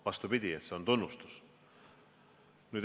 Vastupidi, see on tunnustus.